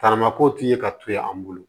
Taramako tun ye ka to yen an bolo